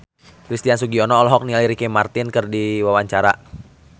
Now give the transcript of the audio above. Christian Sugiono olohok ningali Ricky Martin keur diwawancara